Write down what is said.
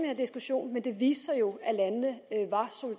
her diskussion men det viste sig jo at landene